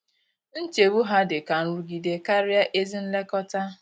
Nchegbu ha dị ka nrụgide karịa ezi nlekọta.